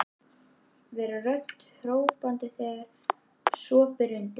Vera rödd hrópandans þegar svo ber undir.